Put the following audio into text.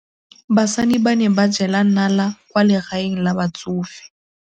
Basadi ba ne ba jela nala kwaa legaeng la batsofe.